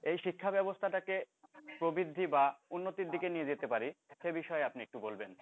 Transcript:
এই শিক্ষা ব্যাবস্থাটাকে প্রবৃদ্ধি বা উন্নতির দিকে নিয়ে যেতে পারি সে বিষয়ে আপনি একটু বলবেন